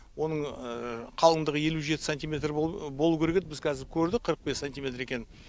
оның қалыңдығы елу жеті сантиметр болу керек еді біз қазір көрдік қырық бес сантиметр екенін